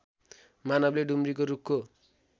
मानवले डुम्रीको रूखको